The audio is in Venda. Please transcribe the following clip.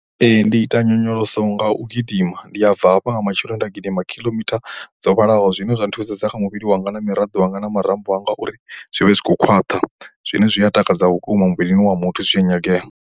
Ndi ita nyonyoloso nga u gidima. Ndi a bva hafha nga matsheloni nda gidima khiḽomitha dzo vhalaho zwine zwa nthusedza kha muvhili wanga na miraḓo yanga na marambo anga uri zwi vhe zwi tshi khou khwaṱha. Zwine zwi a takadza vhukuma muvhilini wa muthu zwi tshi nyagea.